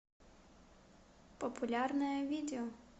популярное видео